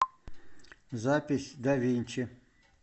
запись давинчи